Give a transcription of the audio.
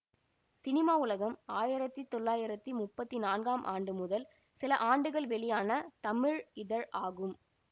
cinema உலகம் ஆயிரத்தி தொள்ளாயிரத்தி முப்பத்தி நான்காம் ஆண்டு முதல் சில ஆண்டுகள் வெளியான தமிழ் இதழ் ஆகும்